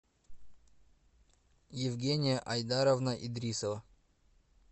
евгения айдаровна идрисова